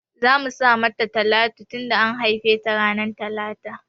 Zamu sa mata Talatu tunda an haife ta ranar talata